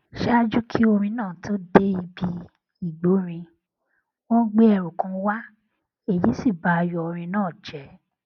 ṣáájú kí orin náà tó dé bí igbórinin wón gbé ẹrù kan wá èyí sì ba ayò orin náà jé